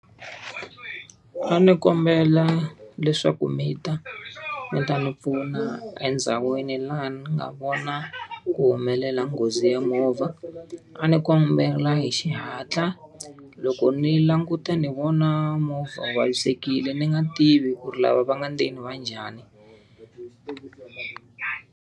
A ni kombela leswaku mi ta mi ta ni pfuna endhawini laha ni nga vona ku humelela nghozi ya movha. A ni kombela hi xihatla. Loko ni languta ni vona movha wu vavisekile ni nga tivi ku ri lava va nga ndzeni va njhani.